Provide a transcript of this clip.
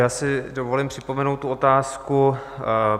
Já si dovolím připomenout tu otázku.